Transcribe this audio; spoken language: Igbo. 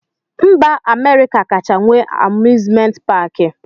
Mba Amerịka kacha nwee amuzment paki.